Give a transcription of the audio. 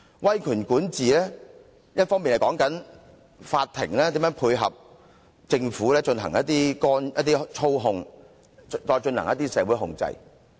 威權管治說的是法庭如何配合政府進行一些操控，再進行一些社會控制。